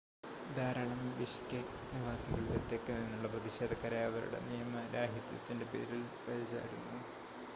ധാരാളം ബിഷ്കെക് നിവാസികൾ തെക്ക് നിന്നുള്ള പ്രതിഷേധക്കാരെ അവരുടെ നിയമരാഹിത്യത്തിൻ്റെ പേരിൽ പഴിചാരുന്നു